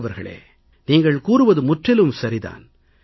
சுந்தர் அவர்களே நீங்கள் கூறுவது முற்றிலும் சரி தான்